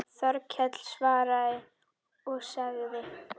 Þórkell svaraði og sagði